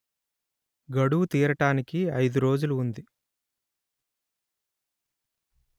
గడువు తీరటానికి అయిదు రోజులు ఉంది